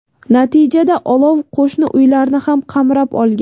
Natijada olov qo‘shni uylarni ham qamrab olgan.